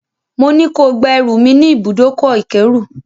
Mo ní ko gba ẹrù mi ní ibùdókọ̀-ìkérù.